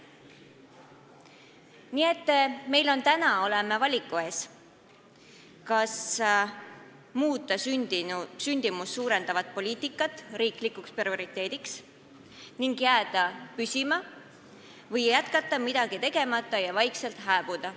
Nii et me oleme täna valiku ees, kas muuta sündimust suurendav poliitika riiklikuks prioriteediks ning jääda püsima või jätkata midagi tegemata ja vaikselt hääbuda.